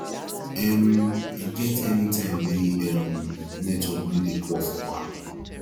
um e get anytime wey um network no dey poor for bank